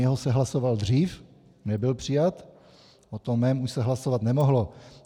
Jeho se hlasoval dřív, nebyl přijat, o tom mém už se hlasovat nemohlo.